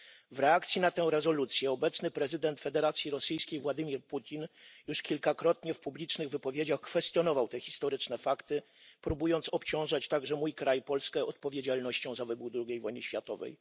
W reakcji na tę rezolucję obecny prezydent Federacji Rosyjskiej Władimir Putin już kilkakrotnie w publicznych wypowiedziach kwestionował te historyczne fakty, próbując obciążać także mój kraj, Polskę, odpowiedzialnością za wybuch II wojny światowej.